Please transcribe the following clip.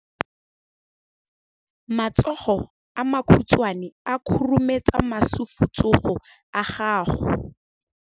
Matsogo a makhutshwane a khurumetsa masufutsogo a gago.